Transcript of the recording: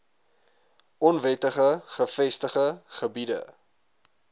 onwettig gevestigde gebiede